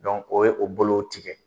o ye o bolow tigɛ.